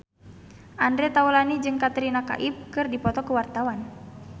Andre Taulany jeung Katrina Kaif keur dipoto ku wartawan